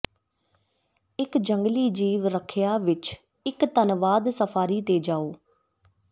ਇਕ ਜੰਗਲੀ ਜੀਵ ਰੱਖਿਆ ਵਿਚ ਇਕ ਧੰਨਵਾਦ ਸਫਾਰੀ ਤੇ ਜਾਓ